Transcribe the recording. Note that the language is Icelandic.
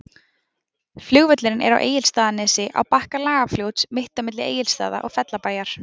Flugvöllurinn er á Egilsstaðanesi, á bakka Lagarfljóts, mitt á milli Egilsstaða og Fellabæjar.